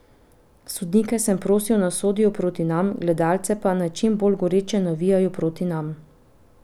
Sodnike sem prosil, naj sodijo proti nam, gledalce pa, naj čim bolj goreče navijajo proti nam.